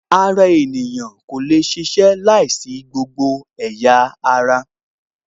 Ara ènìyàn kò lè ṣiṣẹ́ láìsí ẹ̀yà ara